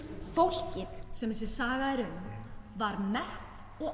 fólkið sem þessi saga er um var mett og